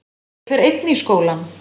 Ég fer einn í skólann.